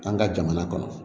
An ka jamana kɔnɔ